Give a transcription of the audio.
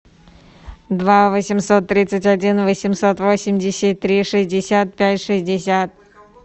два восемьсот тридцать один восемьсот восемьдесят три шестьдесят пять шестьдесят